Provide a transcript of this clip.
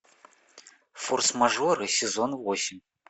форс мажоры сезон восемь